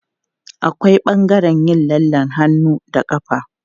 Akwai ɓangaren yin lallen hannu da ƙafa.